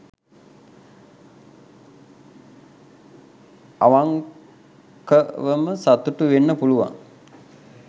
අවන්කවම සතුටු වෙන්න පුළුවන්